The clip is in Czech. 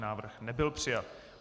Návrh nebyl přijat.